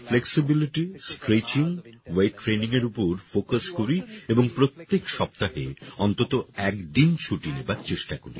আমি flexibility stretching weight training এর উপর ফোকাস করি এবং প্রত্যেক সপ্তাহে অন্তত একদিন ছুটি নেবার চেষ্টা করি